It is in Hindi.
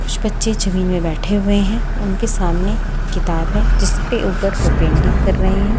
कुछ बच्चे जमीन में बैठे हुए हैं उनके सामने किताब है जिसके ऊपर वे पेंटिंग कर रहे हैं।